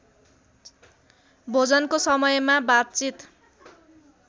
भोजनको समयमा बातचित